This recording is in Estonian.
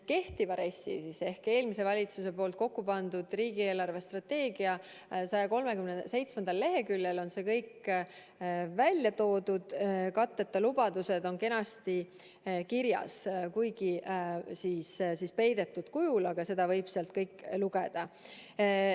Kehtiva RES-i ehk eelmise valitsuse poolt kokkupandud riigi eelarvestrateegia 137. leheküljel on see kõik välja toodud, katteta lubadused on kenasti kirjas, kuigi peidetud kujul, aga seda võib sealt lugeda.